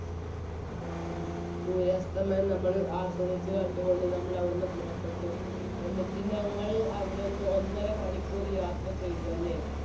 ഉം. സൂര്യാസ്തമനം നമ്മൾ ആസ്വദിച്ചു കണ്ടുകൊണ്ട് നമ്മൾ അവിടെ നിന്നും പുറപ്പെട്ടു. എന്നിട്ട് ഞങ്ങൾ അവിടെനിന്ന് ഒന്നര മണിക്കൂർ യാത്ര ചെയ്തു. അല്ലേ?